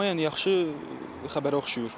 Amma yəni yaxşı xəbərə oxşayır.